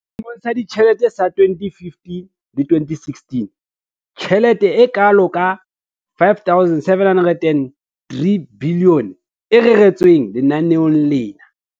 Selemong sa ditjhelete sa 2015-16, ke tjhelete e kalo ka R5 703 bilione e reretsweng lenaneo lena.